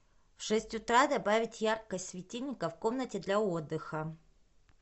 в шесть утра добавить яркость светильника в комнате для отдыха